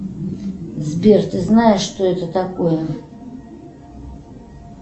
сбер ты знаешь что это такое